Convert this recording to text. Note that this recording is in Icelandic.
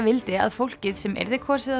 vildi að fólkið sem yrði kosið á